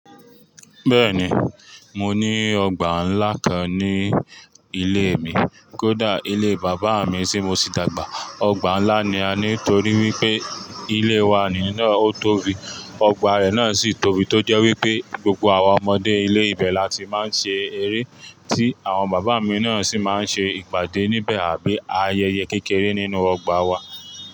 Bẹ́ẹ̀ni, mo ní ọgbà ńlá kan ní ilé mi. Kódà ilé Bàbá mi tí mo sì dàgbà, ọgbà ńlá ni a, nítorí wípé ilé wa ni náà ó tóbi, ọgbà rẹ̀ náà sì tóbi. Tó jẹ́ wípé gbogbo àwọn ọmọdé ilé ìbẹ̀ la ti máa ń ṣe eré, tí àwọn bàbá mi náà sì máa ń ṣe ìpàdé níbẹ̀ àbí ayẹyẹ kékeré nínú ọgbà wa.